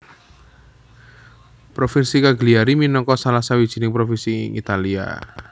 Provinsi Cagliari minangka salah sawijining provinsi ing Italia